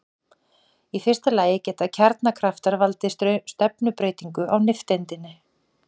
Í fyrsta lagi geta kjarnakraftar valdið stefnubreytingu á nifteindinni.